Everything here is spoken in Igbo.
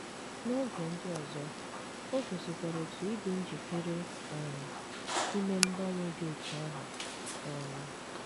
N’oge ndị ọzọ, o gosikwara otu ịdị njikere um ime mgbanwe dị otú ahụ um.